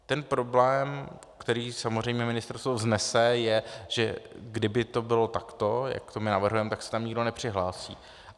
Ten problém, který samozřejmě ministerstvo vznese, je, že kdyby to bylo takto, jak to my navrhujeme, tak se tam nikdo nepřihlásí.